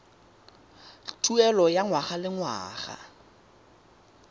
tuelo ya ngwaga le ngwaga